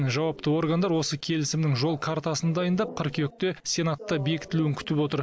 жауапты органдар осы келісімнің жол картасын дайындап қыркүйекте сенатта бекітілуін күтіп отыр